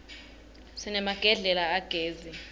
sinemagedlela agezi